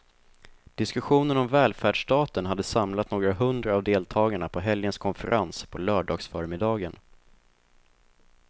Diskussionen om välfärdsstaten hade samlat några hundra av deltagarna på helgens konferens på lördagsförmiddagen.